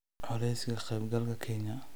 Culayska ka qaybgalka Kenya.